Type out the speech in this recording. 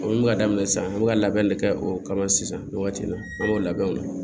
O bɛ ka daminɛ sisan an bɛ ka labɛn de kɛ o kama sisan nin waati in na an y'o labɛn o